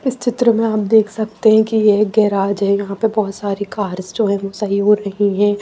इस चित्र में आप देख सकते हैं कि ये एक गैराज है यहाँ पर बहुत सारी कार्स जो हैं वो सही हो रही हैं।